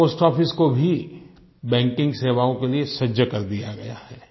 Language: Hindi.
पोस्ट आफिस को भी बैंकिंग सेवाओं के लिए सजग कर दिया गया है